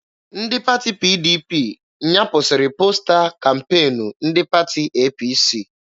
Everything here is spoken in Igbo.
Ndị pati PDP nyapụsiri posta kampeenu ndị pati APC